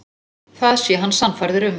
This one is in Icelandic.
Það sé hann sannfærður um.